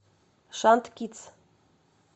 шант кидс